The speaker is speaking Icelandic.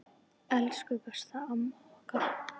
Elsku besta, amma okkar.